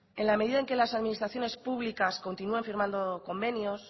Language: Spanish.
en la medida en que las administraciones públicas continúan firmando convenios